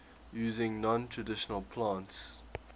using non traditional plants